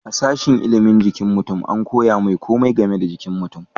a sashin ilimin jikin mutum an koya mai komai game da jikin mutum